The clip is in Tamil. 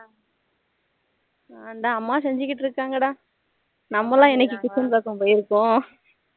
அதான் அம்மா செஞ்சிட்டு இருக்காங்க டா நம்மலாம் என்னைக்கு kitchen பக்கம் போய்யிருக்கோம்